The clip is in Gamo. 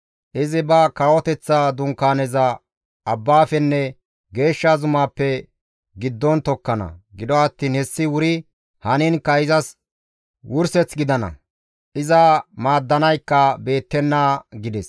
Izi ba kawoteththa dunkaaneza abbaafenne geeshsha zumaappe giddon tokkana; gido attiin hessi wuri haniinkka izas wurseth gidana; iza maaddanaykka beettenna» gides.